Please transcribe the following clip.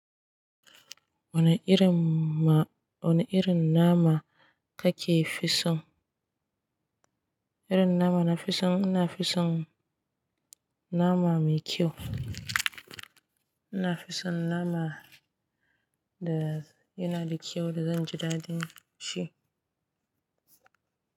Wane irin ma, wane irin nama kake fisan? Irin nama na fisan, ina fisan nama mai kyau. Ina fisan nama da yana da kyau da zanji daɗin shi.